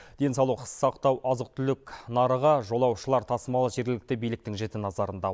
денсаулық сақтау азық түлік нарығы жолаушылар тасымалы жергілікті биліктің жіті назарында